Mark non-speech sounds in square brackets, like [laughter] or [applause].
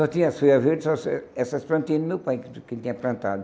Só tinha as folhas verdes, [unintelligible] essas plantinhas do meu pai, que ele tinha plantado.